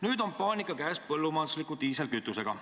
Nüüd on puhkenud paanika seoses põllumajandusliku diislikütusega.